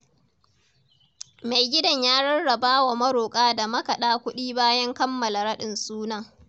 Mai gidan ya rarrabawa maroƙa da makaɗa kuɗi bayan kammala raɗin sunan.